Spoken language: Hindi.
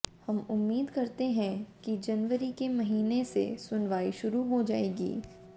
हम उम्मीद करते हैं कि जनवरी के महीने से सुनवाई शुरू हो जायेगी